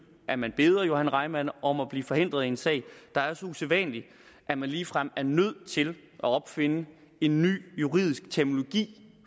at man beder johan reimann om at blive forhindret i en sag der er så usædvanlig at man ligefrem er nødt til at opfinde en ny juridisk terminologi